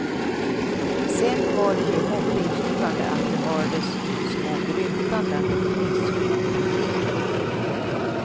Sen var det ju hoppingivande att det hördes små grymtanden och fniss från publiken.